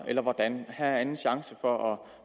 eller hvordan her er den anden chance for at